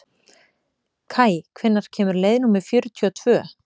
Kaj, hvenær kemur leið númer fjörutíu og tvö?